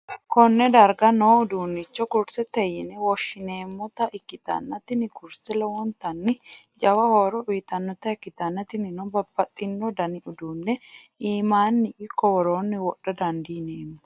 konne darga noo uduunnichi kursete yine woshhsi'neemmota ikkitanna, tini kurseno lowontanni jawa horo uytannota ikkitanna, tinino babbaxxino dani uduunne iimmanni ikko woroonni wodha dandineemmo.